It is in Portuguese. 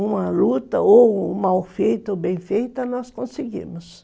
Uma luta, ou mal feita, ou bem feita, nós conseguimos.